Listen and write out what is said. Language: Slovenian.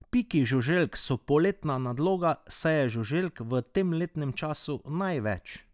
Piki žuželk so poletna nadloga, saj je žuželk v tem letnem času največ.